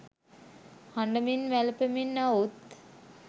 හඬමින් වැළපෙමින් අවුත්